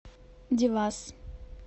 девас